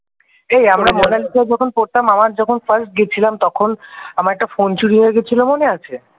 এই আমরা মোনালিসাই যখন পড়তাম আমর যখন first গিয়েছিলাম তখন আমার একটা ফোন চুরি হয়ে গিয়েছিল মনে আছে?